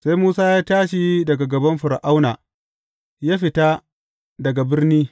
Sai Musa ya tashi daga gaban Fir’auna, ya fita daga birni.